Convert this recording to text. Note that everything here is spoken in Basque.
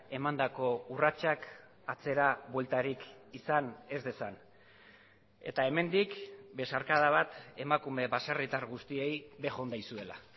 emandako urratsak atzera bueltarik izan ez dezan eta hemendik besarkada bat emakume baserritar guztiei bejon daizuela